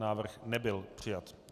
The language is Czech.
Návrh nebyl přijat.